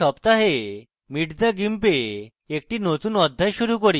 এই সপ্তাহে meet the gimp a একটি নতুন অধ্যায় শুরু করি